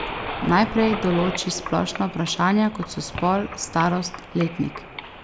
Najprej določi splošna vprašanja, kot so spol, starost, letnik.